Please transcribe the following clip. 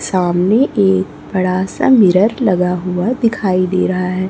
सामने एक बड़ा सा मिरर लगा हुआ दिखाई दे रहा है।